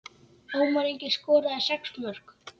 Ómar Ingi skoraði sex mörk.